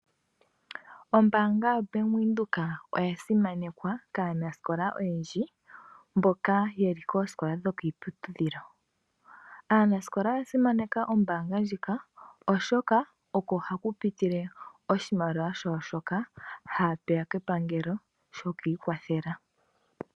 Ombaanga ya Venduka oya simanekwa kaanasikola mboka yeli koosikola dho kiiputudhilo. Aanasikola oya simaneka ombaanga ndjika oshoka oho hakupitile oshimaliwa shawo shoka haya pewa kepangelo.